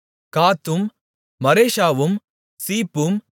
காத்தும் மரேஷாவும் சீப்பும்